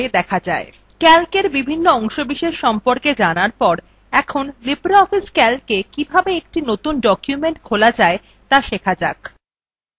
calc বিভিন্ন অংশবিশেষের সম্পর্কে জানার পর এখন libreoffice calca কিভাবে একটি নতুন document খোলা যায় ত়া শিখতে হবে